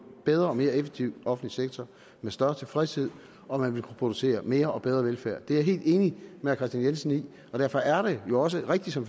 bedre og mere effektiv offentlig sektor med større tilfredshed og man ville kunne producere mere og bedre velfærd det er jeg helt enig med herre kristian jensen i og derfor er det jo også rigtigt som